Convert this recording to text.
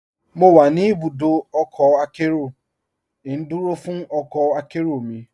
Mo wà ní ibùdọ ọkọ akẹró, ndúró fún ọkọ akẹró mi.